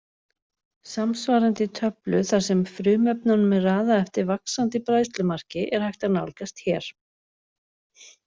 Samsvarandi töflu þar sem frumefnunum er raðað eftir vaxandi bræðslumarki er hægt að nálgast hér.